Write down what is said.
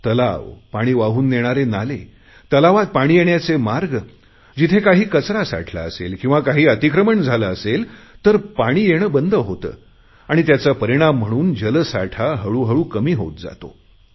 तलाव पाणी वाहून नेणारे नाले तलावात पाणी येण्याचे मार्ग जिथे काही कचरा साठला असेल किंवा काही अतिक्रमण झाले असेल तर पाणी येणे बंद आणि त्याचा परिणाम म्हणून जलसाठा हळूहळू कमी होत जातो